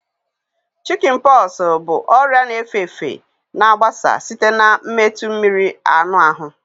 Shikin poxu bụ ọrịa na efe efe na agbasa site na metụ mmiri anụ ahụ